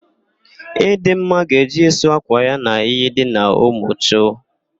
Ịdịmma ga-eje ịsụ ákwà ya n'iyi dị n'Umuchu.